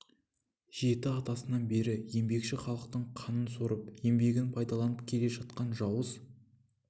жеті атасынан бері еңбекші халықтың қанын сорып еңбегін пайдаланып келе жатқан жауыз